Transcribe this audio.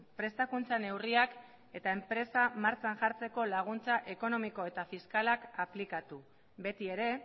prestakuntza neurriak eta enpresa martxan jartzeko laguntza ekonomiko eta fiskalak aplikatu betiere